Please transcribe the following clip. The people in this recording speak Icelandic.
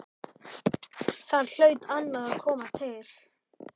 Þar hlaut annað að koma til.